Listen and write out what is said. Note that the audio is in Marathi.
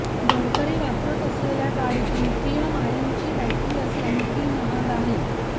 गडकरी वापरत असलेल्या गाडीत लिथिअम आयर्नची बॅटरी असल्याने ती महाग आहे